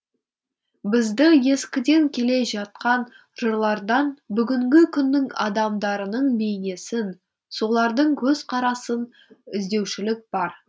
бізді ескіден келе жатқан жырлардан бүгінгі күннің адамдарының бейнесін солардың көзқарасын іздеушілік бар